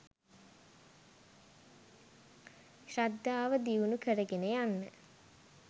ශ්‍රද්ධාව දියුණු කරගෙන යන්න.